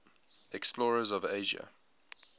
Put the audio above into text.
explorers of asia